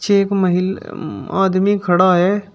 एक महिल उम्म आदमी खड़ा है।